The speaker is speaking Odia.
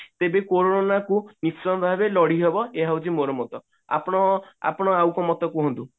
ତେବେ କୋରୋନା କୁ ନିଶ୍ଚୟ ଭାବରେ ଲଢିହବ ଏହା ହେଉଛି ମୋର ମତ ଆପଣ ଆପଣ ଆଉ କୋଉ ମତ କୁହନ୍ତୁ